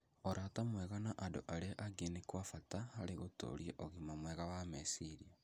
Ũrata mwega na andũ arĩa angĩ nĩ kwa bata harĩ gũtũũria ũgima mwega wa meciria.